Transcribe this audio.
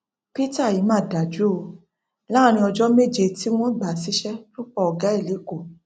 peter yìí mà dájú o láàrin ọjọ méje tí wọn gbà á síṣẹ lọ pa ọgá ẹ lẹkọọ